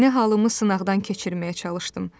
Yeni halımı sınaqdan keçirməyə çalışdım.